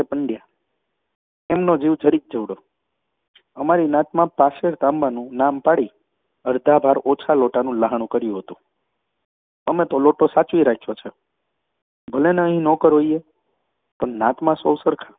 એ પંડયા. એમનો જીવ જરીક જેવડો. અમારી નાતમાં પાશેર તાંબાનું નામ પાડી અરધા ભાર ઓછા લોટાનું લહાણું કર્યું હતું. અમે તો લોટો સાચવી રાખ્યો છે ભલેને અહીં નોકર હોઈએ, પણ નાતમાં સૌ સરખા.